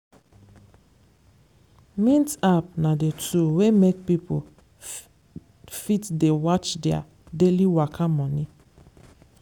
mint app na the tool wey make pipo fit dey watch their daily waka money.